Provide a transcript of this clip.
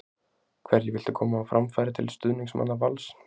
Hverju viltu koma á framfæri til stuðningsmanna Vals?